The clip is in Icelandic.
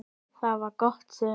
Það var gott sumar.